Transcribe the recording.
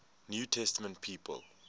new testament people